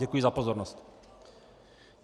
Děkuji za pozornost.